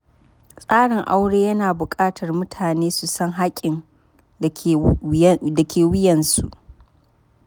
Tsarin aure yana buƙatar mutane su san haƙƙin da ke wuyansu.